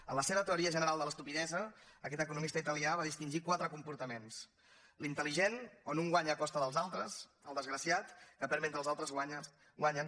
en la seva teoria general de l’estupidesa aquest economista italià va distingir quatre comportaments l’intelligent on un guanya a costa dels altres el desgraciat que perd mentre els altres guanyen